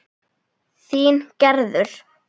Þín Gerður.